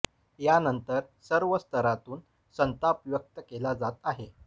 यानंतर सर्व स्तरातून संताप व्यक्त केला जात आहे